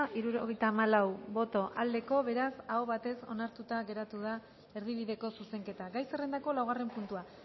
hirurogeita hamalau boto aldekoa beraz aho batez onartuta geratu da erdibideko zuzenketa gai zerrendako laugarren puntua